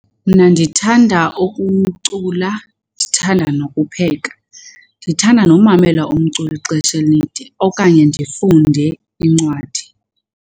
Mna ndithanda ukucula, ndithanda nokupheka. Ndithanda nomamela umculo ixesha elide okanye ndifunde incwadi.